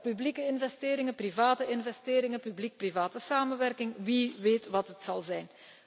Publieke investeringen, private investeringen, publiek private samenwerking, wie weet wat het zal worden?